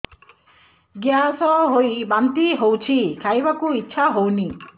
gas ହୋଇ ବାନ୍ତି ହଉଛି ଖାଇବାକୁ ଇଚ୍ଛା ହଉନି